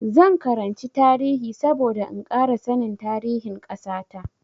Zan karanci tarihi saboda in ƙara sanin tarihin ƙasa ta.